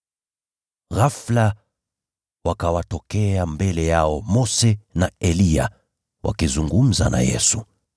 Ghafula wakawatokea mbele yao Mose na Eliya, wakizungumza na Yesu.